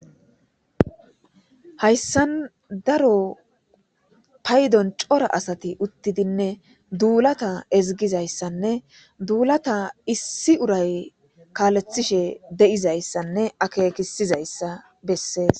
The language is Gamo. Hayssani daro paydon cora asati uthtidinedulata ezigida issane dulata issi uray kaletishe de'iza issane akekishe diza issa beesses.